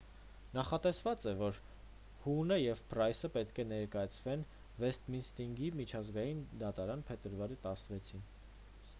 նախատեսված է որ հուհնը և փրայսը պետք է ներկայանան վեսթմինիսթրի միջազգային դատարան փետրվարի 16-ին